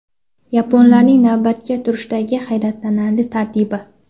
Yaponlarning navbatga turishdagi hayratlanarli tartibi.